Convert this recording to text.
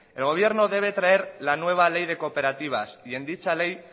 el gobierno debe traer la nueva ley de cooperativas y en dicha ley